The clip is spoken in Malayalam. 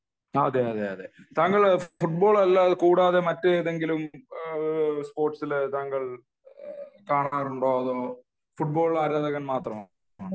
ആഹ് അതെയതെ താങ്കൾ ഫുട്ബോൾ കൂടാതെ മറ്റേതെങ്കിലും സ്പോര്ട്സില് താങ്കൾ കാണാറുണ്ടോ അതോ ഫുട്ബാൾ ആരാധകൻ മാത്രമാണോ